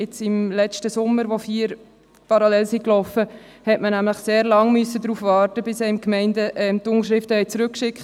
Als im letzten Sommer vier Sammlungen parallel liefen, musste man sehr lange darauf warten, bis einen die Gemeinden die Unterschriftenbögen zurückschickten.